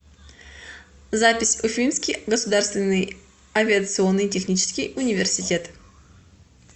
запись уфимский государственный авиационный технический университет